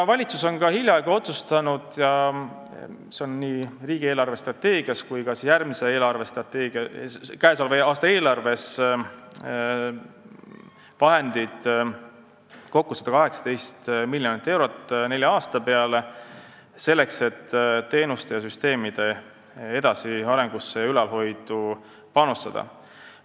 Valitsus on hiljaaegu otsustanud – ja selleks on nii riigi eelarvestrateegias kui ka käesoleva aasta eelarves vahendeid kokku 118 miljonit eurot nelja aasta peale – teenuste ja süsteemide edasiarendusse ja ülalhoidu panustada.